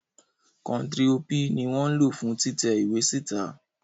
Kontiro P ni wọn lo fun titẹ iwe sita